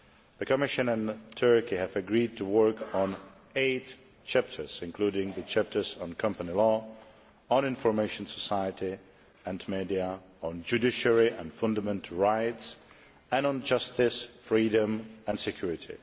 The Commission and Turkey have agreed to work on eight chapters, including the chapters on company law, on the information society and the media, on the judiciary and fundamental rights and on justice, freedom and security.